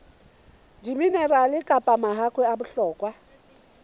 diminerale kapa mahakwe a bohlokwa